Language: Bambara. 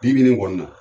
Bi bi in kɔni na